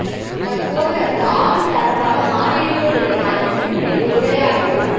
தற்போது அது ஆளும் தரப்பாக மாறியிருப்பதுடன் அதன் முன் நின்று உரையாடவோ